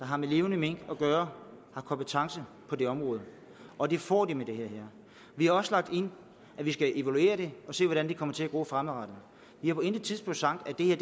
har med levende mink at gøre har kompetence på det område og det får de med det her vi har også lagt ind at vi skal evaluere det og se hvordan det kommer til at gå fremadrettet vi har på intet tidspunkt sagt at det her